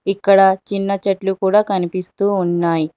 ఇక్కడ చిన్న చెట్లు కూడా కనిపిస్తూ ఉన్నాయ్.